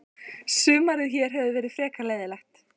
Sumarið hér hefur verið frekar leiðinlegt.